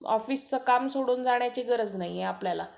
ऑफिसचं काम सोडून जाण्याची गरज नाहीए आपल्याला